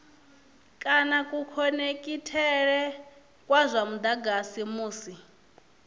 kana kukhonekhithele kwa mudagasi musi